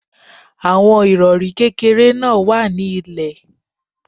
Àwọn Ìrọ̀rí kékeré náà wà ní ilè.